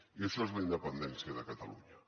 i això és la independència de catalunya